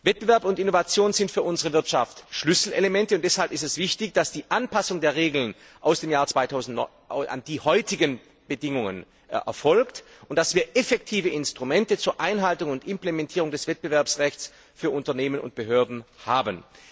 Wettbewerb und Innovation sind für unsere Wirtschaft Schlüsselelemente und deshalb ist es wichtig, dass die Anpassung der Regeln aus dem Jahr 2009 an die heutigen Bedingungen erfolgt und dass wir effektive Instrumente zur Einhaltung und Implementierung des Wettbewerbsrechts für Unternehmen und Behörden haben.